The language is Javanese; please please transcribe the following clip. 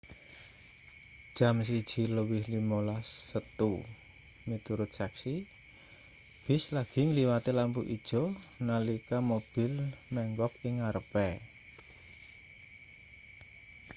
jam 1:15 setu miturut seksi bis lagi ngliwati lampu ijo nalika mobil menggok ing ngarepe